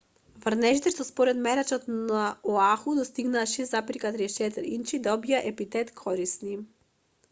врнежите што според мерачот на оаху достигнаа 6,34 инчи добија епитет корисни